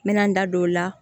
N mɛna n da don o la